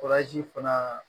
fana